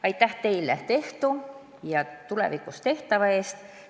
Aitäh teile tehtu ja tulevikus tehtava eest!